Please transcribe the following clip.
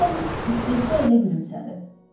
Holms istehza ilə gülümsədi.